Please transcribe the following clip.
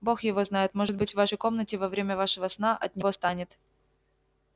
бог его знает может быть в вашей комнате во время вашего сна от него станет